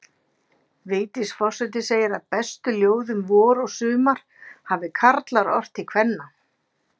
Vigdís forseti segir að bestu ljóð um vor og sumar hafi karlar ort til kvenna.